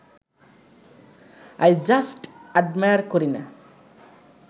I just admire Kareena